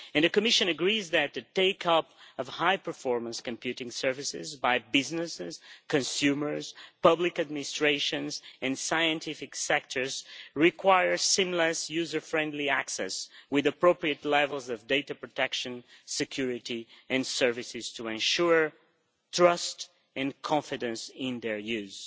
The Commission agrees that the take up of high performance computing services by businesses, consumers, public administrations and scientific sectors requires seamless user friendly access with appropriate levels of data protection, security and services to ensure trust and confidence in their use.